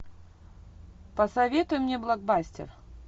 посоветуй мне блокбастер